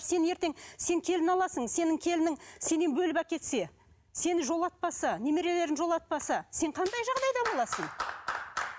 сен ертең сен келін аласың сенің келінің сенен бөліп әкетсе сені жолатпаса немерелерін жолатпаса сен қандай жағдайда боласың